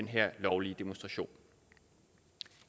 her lovlige demonstrationer